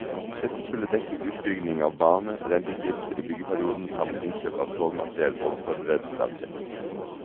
Dette skulle dekke utbygging av bane, renteutgifter i byggeperioden samt innkjøp av togmateriell og forberedelse av drift.